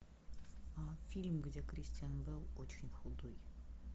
фильм где кристиан бейл очень худой